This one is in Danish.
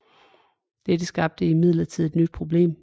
Dette skabte imidlertid et nyt problem